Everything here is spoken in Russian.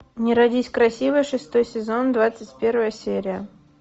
не родись красивой шестой сезон двадцать первая серия